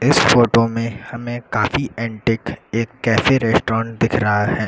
इस फोटो में हमें काफी एंटीक एक कैफे रेस्टोरेंट दिख रहा है।